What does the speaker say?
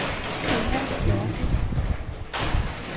Tenna Lerche